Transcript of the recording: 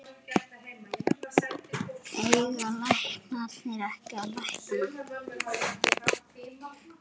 Eiga læknar ekki að lækna?